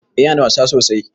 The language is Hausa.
Eh Yana da wasa sosai.